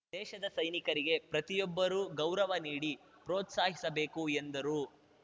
ದೇಶದ ಸೈನಿಕರಿಗೆ ಪ್ರತಿಯೊಬ್ಬರೂ ಗೌರವ ನೀಡಿ ಪ್ರೋತ್ಸಾಹಿಸಬೇಕು ಎಂದರು